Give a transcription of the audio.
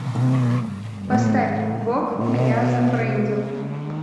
поставь бог меня зафрендил